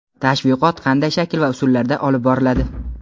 Tashviqot qanday shakl va usullarda olib boriladi?.